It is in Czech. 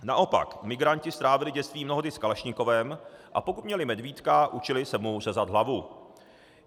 Naopak migranti strávili dětství mnohdy s kalašnikovem, a pokud měli medvídka, učili se mu řezat hlavu.